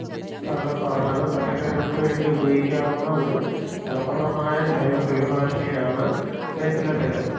താങ്കൾ പറഞ്ഞത് പച്ചക്കറികൾക്ക് വേണ്ടി ഉപയോഗിക്കാവുന്ന ഒരു ഫലപ്രദതമായ ജൈവ കീടനാശിനിയാണ് വേപ്പില തൈലം